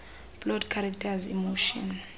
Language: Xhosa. plot characters emotion